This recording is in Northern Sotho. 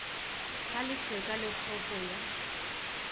ga letheka le kgopo ya